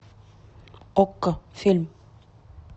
окко фильм